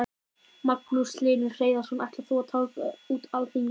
Magnús Hlynur Hreiðarsson: Ætlar þú að tálga út alþingismennina okkar?